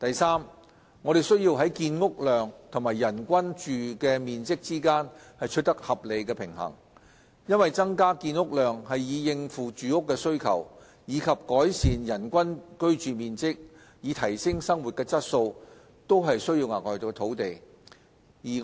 三我們需要在建屋量和人均居住面積之間取得合理平衡，因為增加建屋量以應付住屋的需求，以及改善人均居住面積以提升生活質素均需要額外土地。